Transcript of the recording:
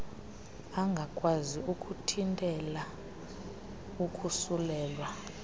angakwazi ukuthintela ukosulelwa